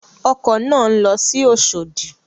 Ọkọ̀ náà ń lọ sí Oṣòdì.